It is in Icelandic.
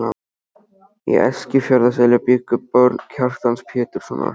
Í Eskifjarðarseli bjuggu börn Kjartans Péturssonar.